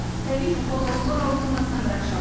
сәби жұқпалы аурулар ауруханасынан бір ақ шығады